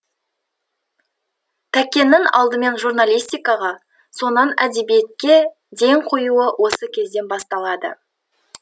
тәкеннің алдымен журналистикаға соңынан әдебиетке ден қоюы осы кезден басталады